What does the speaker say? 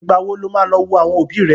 Ìgbà wo ló máa lọ wo àwọn òbí rẹ?